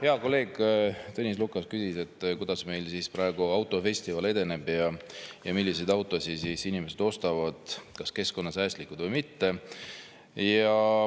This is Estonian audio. Hea kolleeg Tõnis Lukas küsis, kuidas meil praegu autofestival edeneb ja milliseid autosid inimesed ostavad, kas keskkonnasäästlikke või mitte.